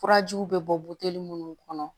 Furajiw bɛ bɔ minnu kɔnɔ